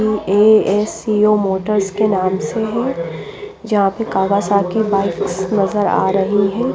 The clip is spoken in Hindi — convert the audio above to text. ये ए_एस_सी_ ओ मोटर इसके नाम से है जहाँ पे कावासाकी बाइक्स नजर आ रही है।